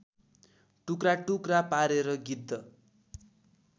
टुक्राटुक्रा पारेर गिद्ध